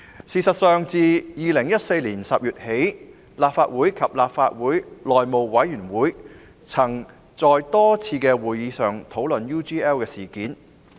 事實上，自2014年10月起，立法會及內務委員會曾在多次會議上討論 UGL 事件。